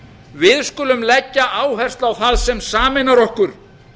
við skulum leggja áherslu á það sem sameinar okkur